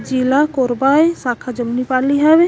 जिला कोरबा ए सखा जमनी पाली हवे।